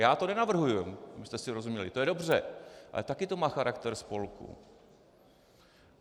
Já to nenavrhuji, abychom si rozuměli, to je dobře, ale taky to má charakter spolku.